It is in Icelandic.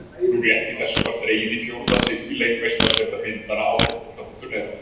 Nú rétt í þessu var dregið í fjórða sinn í leik Meistaradeildar myndanna á Fótbolta.net.